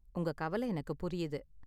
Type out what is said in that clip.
உங்க கவல எனக்கு புரியுது.